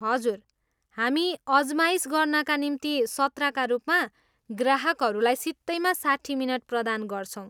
हजुर, हामी अजमाइस गर्नाका निम्ति सत्रका रूपमा ग्राहकहरूलाई सित्तैमा साट्ठी मिनट प्रदान गर्छौँ।